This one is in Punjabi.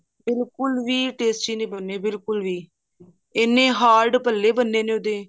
ਬਿਲਕੁਲ ਵੀ tasty ਨੀ ਬਣੇ ਬਿਲਕੁਲ ਵੀ ਇੰਨੇ hard ਭੱਲੇ ਬਣੇ ਨੇ ਉਹਦੇ